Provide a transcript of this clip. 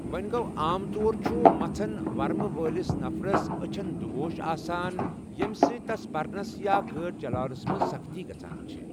وونہِ گو٘ عام طور چھٗ مژھن ورمہٕ وٲلِس نفرس اچھن دٗگوش آسان، ییمہِ سۭتۍ تس پرنس یا گٲڈِ چلاونس منز سختی گژھان چھے٘۔